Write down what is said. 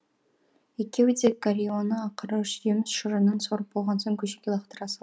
екеуі де горионы ақыры жеміс шырынын сорып болған соң көшеге лақтыра